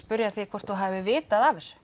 því hvort þú hafir vitað af þessu